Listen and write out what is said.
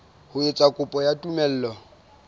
ho etsa kopo ya tumello